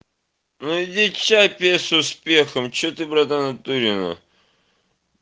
ну иди чай пей с успехом че ты братан в натуре нах